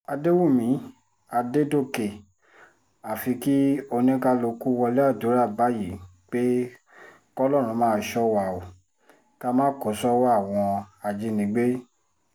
àdẹ̀wùmí àdẹ̀dọ̀kẹ̀ àfi kí oníkálùkù wọlé àdúrà báyìí pé kọlọ́run máa ṣọ́ wa o ká má kó sọ́wọ́ àwọn ajínigbé